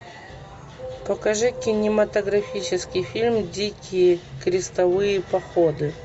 покажи кинематографический фильм дикие крестовые походы